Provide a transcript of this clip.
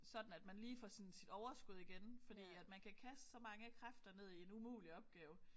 Sådan at man lige får sådan sit overskud igen fordi at man kan kaste så mange kræfter ned i en umulig opgave